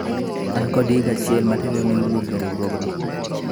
an kod higa achiel motelo ne wuok e riwruogno